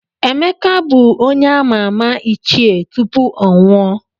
Emeka bụ onye a]ma ama Ichie tupu ọ nwụọ.